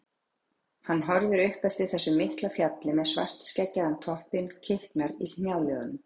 Hann horfir upp eftir þessu mikla fjalli með svartskeggjaðan toppinn, kiknar í hnjáliðunum.